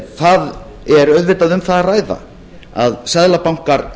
það er auðvitað um það að ræða að seðlabankar